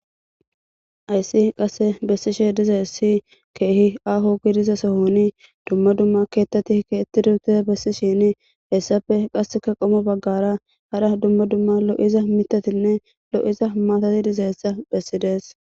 Hayssi qasse bessishe diza hessi keehi aho gidiza sohoni dumma dumma keettati ke ettiduutiza bessishini hessafe qasseka qomo baggara hara dumma dumma lo'iza mitatinne lo'iza maatati diza hessa bessides.